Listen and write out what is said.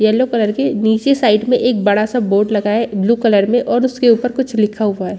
Yellow colour की नीचे side में एक बड़ा सा बोर्ड लाग है ब्लू कलर में और उसके ऊपर कुछ लिखा हुआ है।